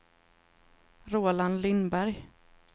Roland Lindberg